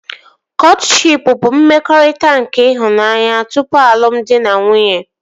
Kọtshịp bụ mmekọrịta nke ịhụnanya tupu alụmdi na nwunye